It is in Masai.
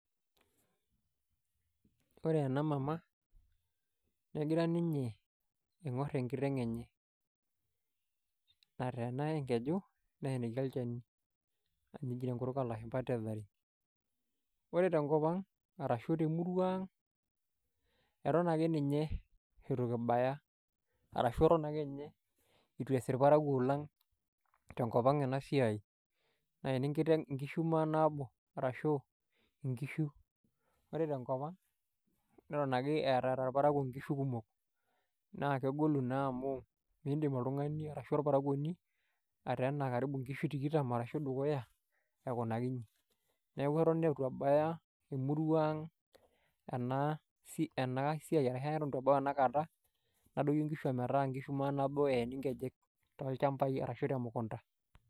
ore ena mama egira ninye aiingor enkiteng enye, nateena enkeju, neeniki olchani, amu eji tenkutuk oolshumpa tethering. ore etenkop ang ,arashu temurua ang, eton ake ninye eitu kibaya. arashu eton ake ninye eitu ees irparakuo lang, tenkop ang ena siai, nayeni enkiteng, inkishu maanabo arashu inkishu. ore tenkop ang, neton ake, eeta irparakuo nkihu kumok. naa kegolu, naa amu miidim oltungani ashu orparakuoni, ateena nkishu tikitam ashu dukuya. aikunaki iji. neeku eton eitu ebaya emurua ang ashu eton eitu ebau enakata. nadoyio nkishu ometaa nkishu manaabo eeni nkejek. toolchampai arashu temukunta.